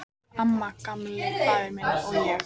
Amma, Gamli faðir minn, og ég.